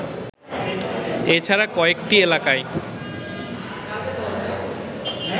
এছাড়া কয়েকটি এলাকায়